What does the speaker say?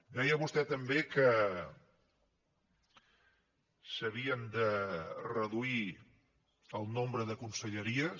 deia vostè també que s’havia de reduir el nombre de conselleries